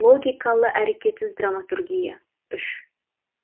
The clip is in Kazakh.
логикалы әрекетсіз драматургия үш